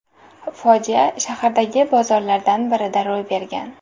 Fojia shahardagi bozorlardan birida ro‘y bergan.